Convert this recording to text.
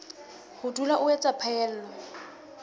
ho dula o etsa phaello